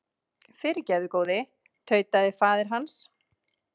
Fyrirgefðu góði, tautaði faðir hans.